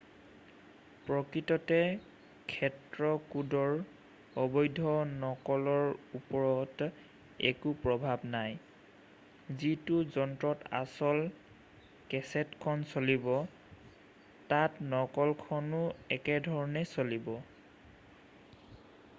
প্ৰকৃততে ক্ষেত্ৰ কোডৰ অবৈধ নকলৰ ওপৰত একো প্ৰভাৱ নাই যিটো যন্ত্ৰত আচল কেছেট খন চলিব তাত নকলখনো একেধৰণেই চলিব